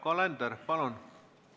Yoko Alender, palun!